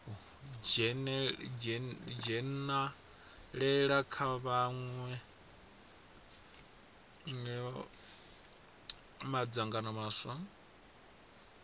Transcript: dzhenalela kha mawe madzangano maswa